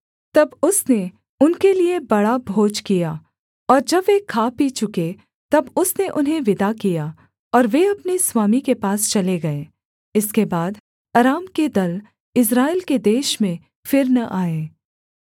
तब उसने उनके लिये बड़ा भोज किया और जब वे खा पी चुके तब उसने उन्हें विदा किया और वे अपने स्वामी के पास चले गए इसके बाद अराम के दल इस्राएल के देश में फिर न आए